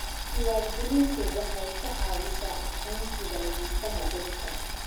Diiwaangelintu waxay ka caawisaa aqoonsiga lahaanshaha dhulka.